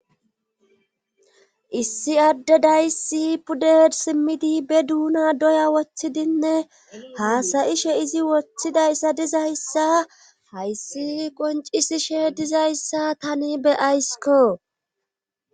Issi adde dayssi pudded simmidi be duuna doya wothidinne haasayishe izi wothidayssa dizayssa hayssi qoncisishe dizayssa tani be ayssikko.